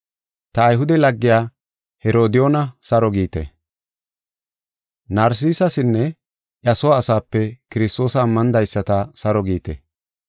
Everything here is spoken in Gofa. Ta Ayhude laggiya Herodiyoona saro giite. Narsisasinne iya soo asaape Kiristoosa ammanidaysata saro giite.